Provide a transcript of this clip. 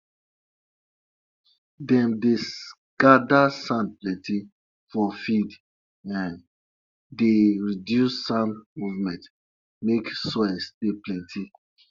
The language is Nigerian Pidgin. whenever you dey vex no go say you wan collect milk from cow body because de cow sabi when you dey tired